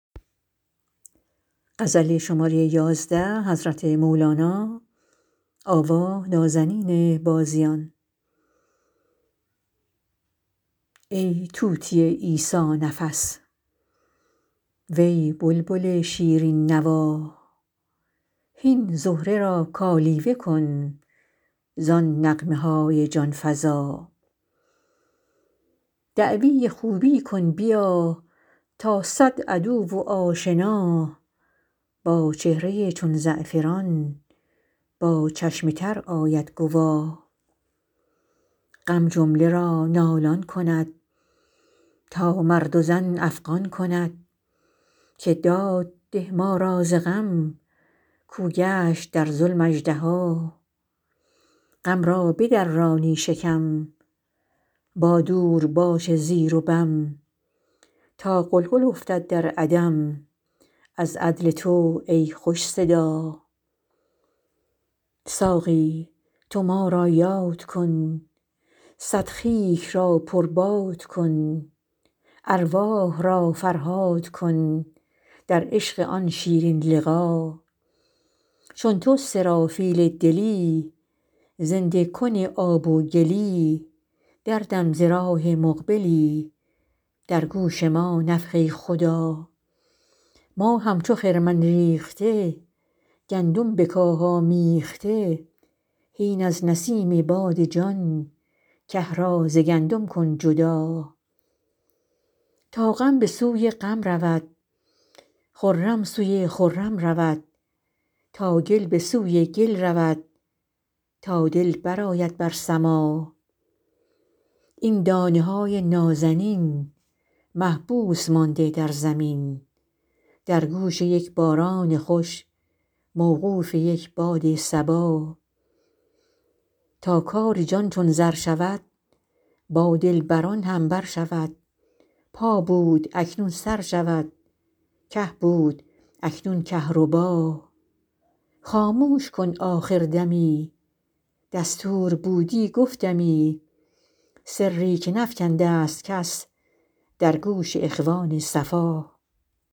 ای طوطی عیسی نفس وی بلبل شیرین نوا هین زهره را کالیوه کن زان نغمه های جان فزا دعوی خوبی کن بیا تا صد عدو و آشنا با چهره ای چون زعفران با چشم تر آید گوا غم جمله را نالان کند تا مرد و زن افغان کند که داد ده ما را ز غم کاو گشت در ظلم اژدها غم را بدرانی شکم با دورباش زیر و بم تا غلغل افتد در عدم از عدل تو ای خوش صدا ساقی تو ما را یاد کن صد خیک را پرباد کن ارواح را فرهاد کن در عشق آن شیرین لقا چون تو سرافیل دلی زنده کن آب و گلی دردم ز راه مقبلی در گوش ما نفخه خدا ما همچو خرمن ریخته گندم به کاه آمیخته هین از نسیم باد جان که را ز گندم کن جدا تا غم به سوی غم رود خرم سوی خرم رود تا گل به سوی گل رود تا دل برآید بر سما این دانه های نازنین محبوس مانده در زمین در گوش یک باران خوش موقوف یک باد صبا تا کار جان چون زر شود با دلبران هم بر شود پا بود اکنون سر شود که بود اکنون کهربا خاموش کن آخر دمی دستور بودی گفتمی سری که نفکنده ست کس در گوش اخوان صفا